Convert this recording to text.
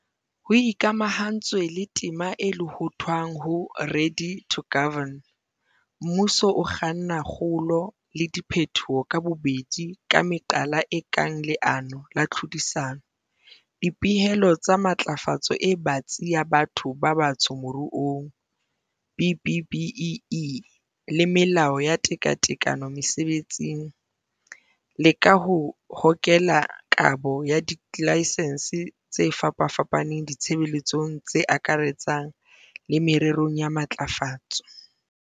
Ho ikamahantswe le tema e lohothwang ho 'Ready to Govern', mmuso o kganna kgolo le diphetoho ka bobedi ka meqala e kang leano la tlhodisano, dipehelo tsa matlafatso e batsi ya batho ba batsho moruong, BBBEE, le melao ya tekatekano mesebetsing, le ka ho hokela kabo ya dilaksense tse fapafapaneng ditshebeletsong tse akaretsang le mererong ya matlafatso.